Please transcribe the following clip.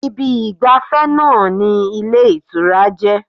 Ibi ìgbàfẹ́ náà ni ilé ìtura jẹ́